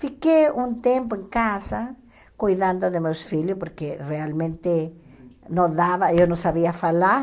Fiquei um tempo em casa cuidando de meus filhos, porque realmente não dava, eu não sabia falar.